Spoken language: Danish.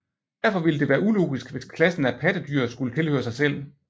Derfor ville det være ulogisk hvis klassen af pattedyr skulle tilhøre sig selv